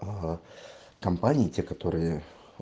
ага компании те которые